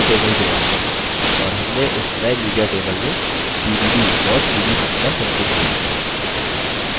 और हमने इस नये media table में dvd और cd सूचना संचित की